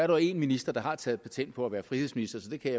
jo én minister der har taget patent på at være frihedsminister så det kan